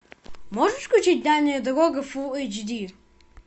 можешь включить дальняя дорога фулл эйч ди